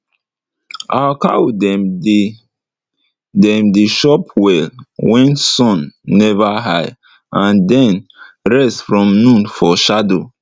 our cow dem dey dem dey chop well wen sun never high and den rest from noon for shadow